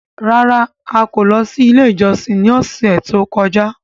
Rárá! A kò lọ sí ilé ìjọsìn ní ọ̀sẹ̀ tó kọjá.